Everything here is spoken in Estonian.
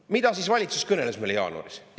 Mida siis valitsus kõneles meile jaanuaris?